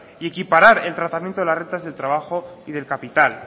y equiparar el tratamiento de las rentas del trabajo y del capital